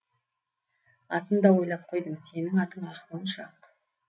атын да ойлап қойдым сенің атың ақмоншақ